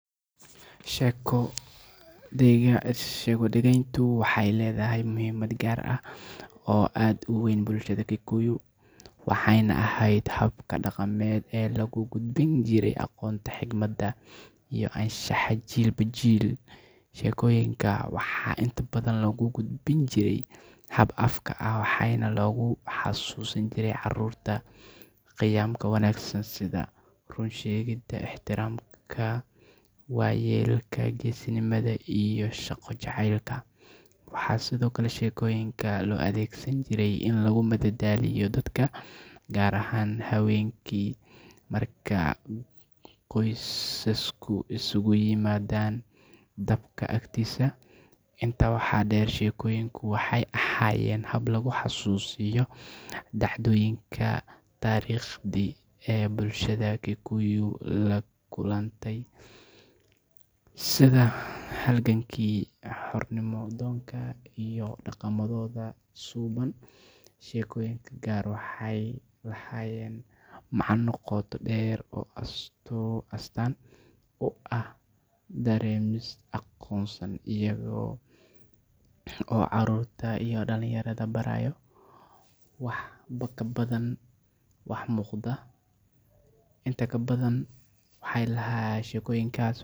Sheeko-dhegayntu waxay leedahay muhiimad gaar ah oo aad u weyn bulshada Kikuyu, waxayna ahayd habka dhaqameed ee lagu gudbin jiray aqoonta, xikmadda, iyo anshaxa jiilba jiil. Sheekooyinka waxaa inta badan lagu gudbin jiray hab afka ah, waxaana lagu xasuusin jiray carruurta qiyamka wanaagsan sida run sheegidda, ixtiraamka waayeelka, geesinimada, iyo shaqo jacaylka. Waxaa sidoo kale sheekooyinka loo adeegsan jiray in lagu madadaaliyo dadka, gaar ahaan habeenkii marka qoysasku isugu yimaadaan dabka agtiisa. Intaa waxaa dheer, sheekooyinku waxay ahaayeen habka lagu xasuusiyo dhacdooyinka taariikhiga ah ee ay bulshada Kikuyu la kulantay, sida halgankii xornimo-doonka iyo dhaqamadooda suubban. Sheekooyinka qaar waxay lahaayeen macno qoto dheer oo astaan u ah dareenno qarsoon, iyaga oo carruurta iyo dhallinyarada baraya wax ka badan waxa muuqda. Inta badan sheekooyinku.